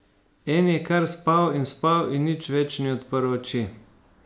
En je kar spal in spal in nič več ni odprl oči.